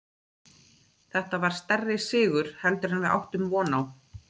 Þetta var stærri sigur heldur en við áttum von á.